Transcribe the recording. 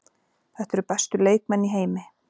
Þetta eru bestu leikmenn í heimi.